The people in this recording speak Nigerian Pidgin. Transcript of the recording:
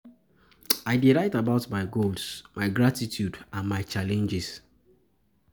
I dey write about my goals, my gratitude, and my challenges.